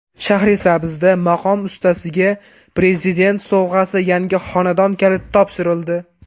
Shahrisabzda maqom ustasiga Prezident sovg‘asi yangi xonadon kaliti topshirildi.